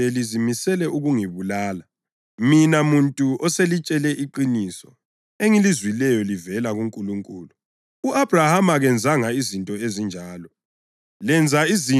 Kodwa kunje nje lizimisele ukungibulala, mina muntu oselitshele iqiniso engilizwileyo livela kuNkulunkulu. U-Abhrahama kazenzanga izinto ezinjalo.